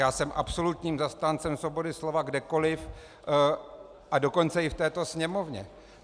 Já jsem absolutním zastáncem svobody slova kdekoliv, a dokonce i v této Sněmovně.